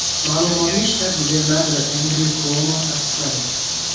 Ma’lumotni shtat gubernatori Endryu Kuomo tasdiqladi.